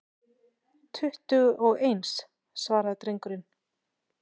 Tuttugu og eins, svaraði drengurinn.